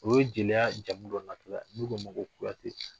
U ye jeliya jamu dɔ natɔla ye ,n'u k'o ma ko Kuyate.